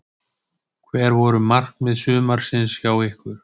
Hver voru markmið sumarsins hjá ykkur?